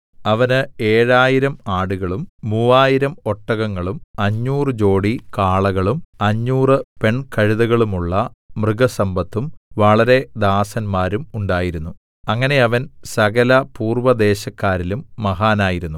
അവന് ഏഴായിരം 7000 ആടുകളും മൂവായിരം 3000 ഒട്ടകങ്ങളും അഞ്ഞൂറ് ജോടി കാളകളും അഞ്ഞൂറ് പെൺ കഴുതകളുമുള്ള മൃഗസമ്പത്തും വളരെ ദാസന്മാരും ഉണ്ടായിരുന്നു അങ്ങനെ അവൻ സകലപൂർവ്വ ദേശക്കാരിലും മഹാനായിരുന്നു